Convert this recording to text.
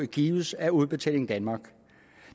gives af udbetaling danmark